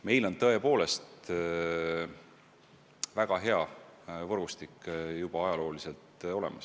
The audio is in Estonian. Meil on tõepoolest väga hea võrgustik juba ajalooliselt olemas.